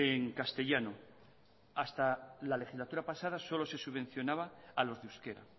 en castellano hasta la legislatura pasada solo se subvencionaba a los de euskera